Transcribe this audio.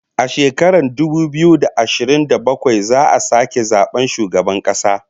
A shekarar dubu biyu da ashirin da bakwai za'a sake zaban shugaban kasa